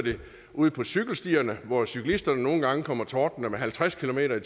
ude på cykelstierne hvor cyklisterne nogle gange kommer tordnende med halvtreds kilometer